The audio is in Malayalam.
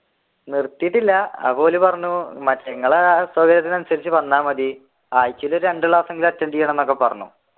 നീർത്തിട്ടില്ല അപ്പോ ഓർ പറഞ്ഞു നിങ്ങളുടെ സൗകര്യത്തിനു അനുസരിച്ചു വന്ന മതി ആഴ്ചയിൽ രണ്ടു ക്ലാസ്സെങ്കിലും attend ചെയ്യണമെന്ന് പറഞ്ഞു.